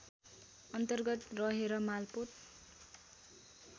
अन्तर्गत रहेर मालपोत